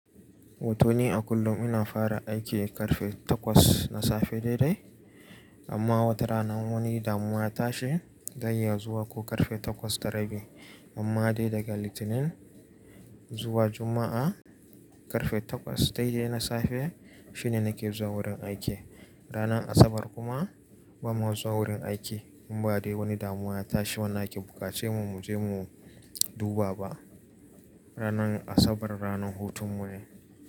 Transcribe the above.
Wato ni a kullum ina fara aiki ƙarfe takwas na safe daidai. Amma wata rana in wani damuwa ya ta shi zan iya zuwa ko ƙarfe takwas da rabi. Amma dai daga Litinin zuwa Juma'a, ƙarfe takwas daidai na safe shine nake zuwa wurin aiki. Ranar Asabar kuma bama zuwa wurin aiki in ba dai wani damuwa ya tashi wanda ake buƙaci mu, mu je mu duba ba. Ranar Asabar ranar hutun mu ne.